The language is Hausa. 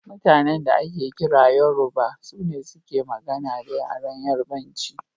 Mutanan da ake kira Yoruba, sune suke magana da yaren Yarubanci.